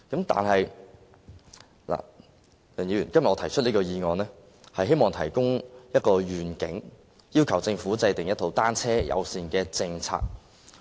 但是，我今天提出這議案，是希望提出一個遠景，要求政府制訂一套單車友善政策。